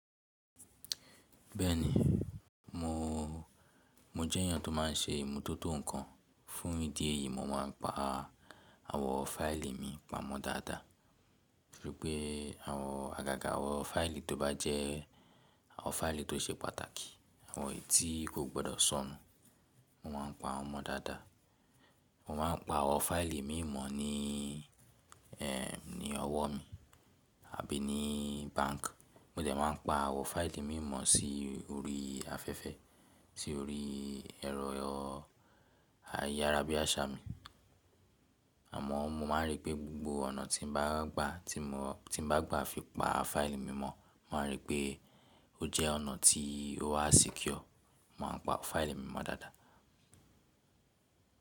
Bẹ́ẹ̀ni, mo, mo jẹ́ ènìyàn tó má n ṣe ìmútótó ǹkan. Fún ìdí èyí, mo má n pa àwọ̀ fáìlì mi pamọ́ dáadáa. Gẹ́gẹ́ bí àwọn àgàgà àwọ̀nfáìlì tó bá jẹ́ àwọn fáìlì tó ṣe pàtàkì, àwọn etí kò gbọdọ̀ sọnù. Mo má n pa wọ́n mọ dáadáa. Mo má n pa àwọ̀n fáìlì mímọ ní ẹ ní ọwọ́ mi àbí ní báǹkì. Mo dẹ̀ má n pa àwọ̀ fáìlì mímọ sí orí afẹ́fẹ́, sí orí ẹ̀rọ ayárabíàṣá mi. Àmọ́ mo má n rí pé gbogbo ọ̀nà tí mo bá gbà tí mo bá gbà fi pa fáìlì mímọ, mo má n rí pé ó jẹ́ ọ̀nà tí ó wà secure, mo má n pa fáìlì mímọ dáadáa.